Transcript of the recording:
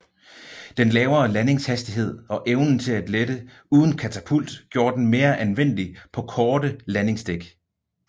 Den lavere landingshastighed og evnen til at lette uden katapult gjorde den mere anvendelig på korte landingsdæk